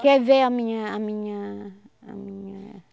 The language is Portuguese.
Quer ver a minha a minha a minha